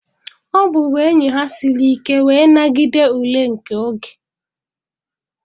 Ọbụbụenyi ha siri ike wee nagide ule nke oge.